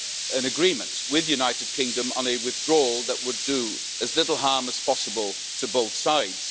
an agreement with the United Kingdom on a withdrawal that would do as little harm as possible to both sides.